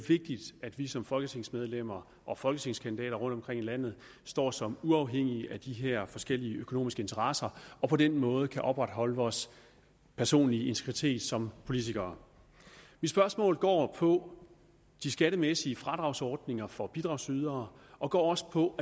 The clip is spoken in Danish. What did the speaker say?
vigtigt at vi som folketingsmedlemmer og folketingskandidater rundtomkring i landet står som uafhængige af de her forskellige økonomiske interesser og på den måde kan opretholde vores personlige integritet som politikere mit spørgsmål går på de skattemæssige fradragsordninger for bidragydere og går også på